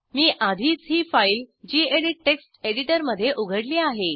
मी आधीच ही file gedit text एडिटरमध्ये उघडली आहे